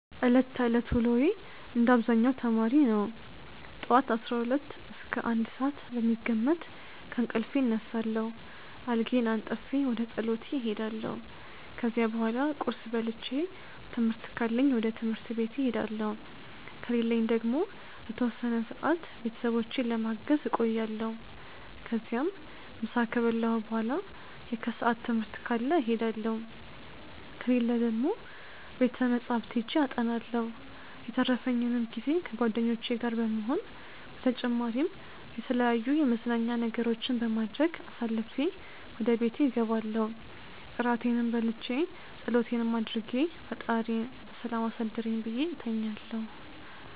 ዕለት ተዕለት ውሎዬ እንደ አብዛኛው ተማሪ ነው። ጠዋት 12 እስከ 1 ሰዓት በሚገመት ከእንቅልፌ እነሳለሁ፣ አልጋዬን አንጥፌ ወደ ፀሎቴ እሄዳለሁ። ከዚያ በኋላ ቁርስ በልቼ ትምህርት ካለኝ ወደ ትምህርት ቤቴ እሄዳለሁ ከሌለኝ ደግሞ ለተወሰነ ሰዓት ቤተሰቦቼን ለማገዝ እቆያለሁ። ከዚያም ምሳ ከበላሁ በኋላ የከሰዓት ትምህርት ካለ እሄዳለሁ፣ ከሌለ ደግሞ ቤተ መፅሐፍት ሄጄ አጠናለሁ። የተረፈኝንም ጊዜ ከጓደኞቼ ጋር በመሆን በተጨማሪም የተለያዩ የመዝናኛ ነገሮችን በማድረግ አሳልፌ ወደ ቤቴ እገባለው እራቴንም በልቼ ፀሎቴንም አድርጌ ፈጣሪዬ በሰላም አሳድረኝ ብዬ እተኛለሁ።